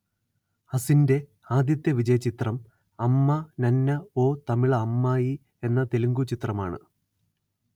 അസിൻറെ ആദ്യത്തെ വിജയചിത്രം അമ്മ നന്ന ഓ തമിള അമ്മായി എന്ന തെലുഗു ചിത്രമാണ്